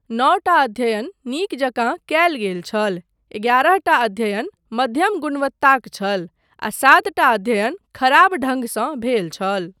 नओटा अध्ययन नीक जकाँ कयल गेल छल, एगारहटा अध्ययन मध्यम गुणवत्ताक छल, आ सातटा अध्ययन खराब ढंगसँ भेल छल।